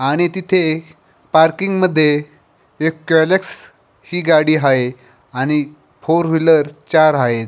आणि तिथे पार्किंगमध्ये एक ग्यलिक्स गाडी आहे आणि फोर व्हीलर आहेत.